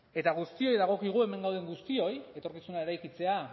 eta guztioi dagokigu hemen gauden guztioi etorkizuna eraikitzea